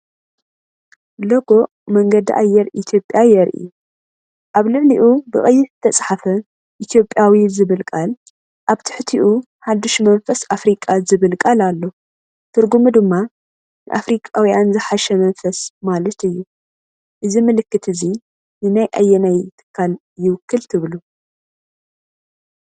ሎጎ መንገዲ ኣየር ኢትዮጵያ የርኢ። ኣብ ልዕሊኡ ብቀይሕ ዝተጻሕፈ “ኢትዮጵያዊ” ዝብል ቃል፡ ኣብ ትሕቲኡ “ሓድሽ መንፈስ ኣፍሪቃ” ዝብል ቃል ኣሎ፣ ትርጉሙ ድማ “ንኣፍሪቃውያን ዝሓሸ መንፈስ” ማለት እዩ። እዚ ምልክት እዚ ንናይ ኣየናይ ትካል ይውክል ትብሉ?